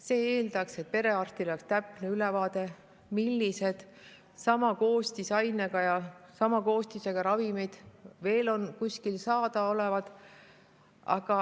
See eeldab, et perearstil on täpne ülevaade, millised sama koostisega ravimid veel kuskil saada on.